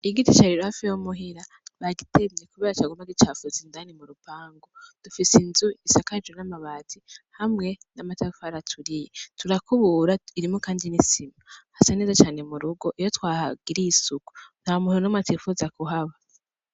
Igiti cari hafi yo muhira bagitemye kubera caguma gicafuza indani mu rupangu dufise inzu isakajwe n'amabati hamwe n'amatafari aturiye turakubura irimwo kandi n'isima hasa neza cane murugo iyo twahagiriye isuku nta muntu numwe atipfuza kuhaba.